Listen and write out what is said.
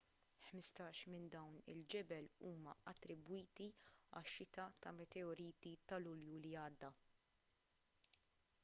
ħmistax minn dawn il-ġebel huma attribwiti għax-xita ta' meteoriti ta' lulju li għadda